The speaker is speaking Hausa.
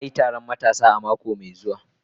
Za a yi taron matasa a mako mai zuwa